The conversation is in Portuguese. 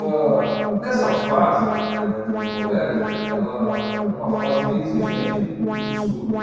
Âh, nessa fase eh de do colégio, ela era uma fase meio exigente dos estudos.